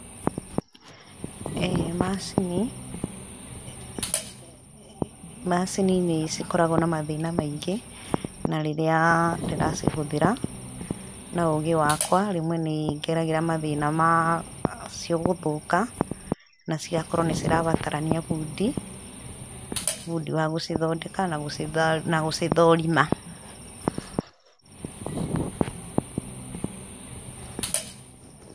Eeh, macini, macini nĩcikoragwo na mathĩna maingĩ, na rĩrĩa ndĩracihũthĩra, na ũgĩ wakwa, rĩmwe nĩngeragĩra mathĩna macio gũthũka, na cigakorwo nĩcirabatarania bundi, bundi wa gũcithondeka na gũcithũũrima.